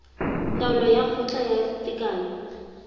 taolo ya kgotla ya tekano